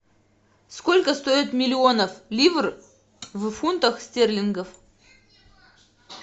сколько стоит миллионов ливр в фунтах стерлингов